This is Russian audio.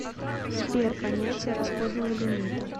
сбер понятие расходного лимита